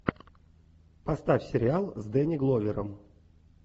поставь сериал с дэнни гловером